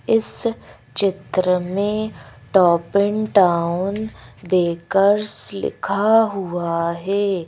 इस चित्र में टॉप इन टाउन बेकर्स लिखा हुआ है।